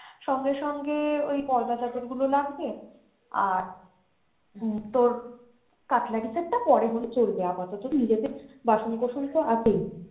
সঙ্গে সঙ্গে ওই পর্দা চাদর গুলো লাগবে আর উম তোর cutlery set টা পরে হলেও চলবে আপাতত নিজেদের বাসন কসন তো আছেই।